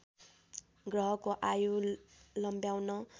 ग्रहको आयु लम्ब्याउन